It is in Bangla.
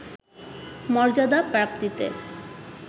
মর্যাদা প্রাপ্তিতে